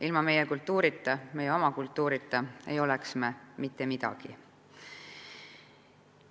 Ilma kultuurita, ilma meie oma kultuurita ei oleks me mitte midagi.